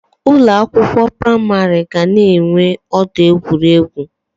Ụlọ akwụkwọ pramarị ga na enwe ọdọ egwuregwu